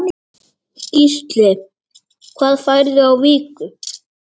Gísli: Hvað færðu á viku?